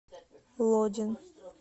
лодин